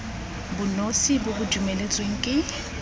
bonosi bo bo dumeletsweng ke